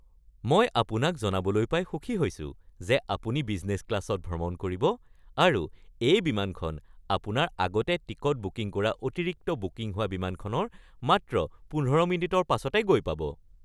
মই আপোনাক জনাবলৈ পাই সুখী হৈছো যে আপুনি বিজনেছ ক্লাছত ভ্ৰমণ কৰিব আৰু এই বিমানখন আপোনাৰ আগতে টিকট বুকিং কৰা অতিৰিক্ত বুকিং হোৱা বিমানখনৰ মাত্ৰ ১৫ মিনিটৰ পাছতে গৈ পাব। (বিমান কৰ্মচাৰী)